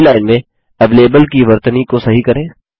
पहली लाइन में एवेलेबल की वर्तनी को सही करें